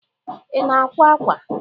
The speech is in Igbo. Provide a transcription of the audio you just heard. Ị na-akwa ákwà?